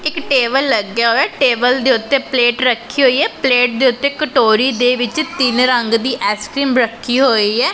ਇੱਕ ਟੇਬਲ ਲੱਗਿਆ ਹੋਇਆ ਟੇਬਲ ਦੇ ਉੱਤੇ ਪਲੇਟ ਰੱਖੀ ਹੋਈ ਹ ਪਲੇਟ ਦੇ ਉੱਤੇ ਕਟੋਰੀ ਦੇ ਵਿੱਚ ਤਿੰਨ ਰੰਗ ਦੀ ਐਸਕ੍ਰੀਮ ਰੱਖੀ ਹੋਈ ਹੈ।